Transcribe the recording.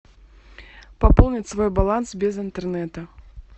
пополнить свой баланс без интернета